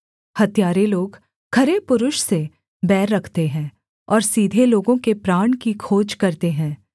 हत्यारे लोग खरे पुरुष से बैर रखते हैं और सीधे लोगों के प्राण की खोज करते हैं